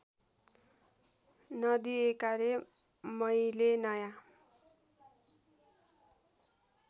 नदिएकाले मैले नयाँ